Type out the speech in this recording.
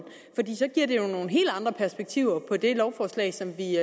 så giver det jo nogle helt andre perspektiver på det lovforslag som vi